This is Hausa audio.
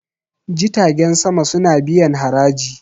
jitagen sama suna biyan haraji